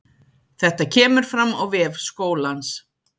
Þetta kemur fram á vef skólans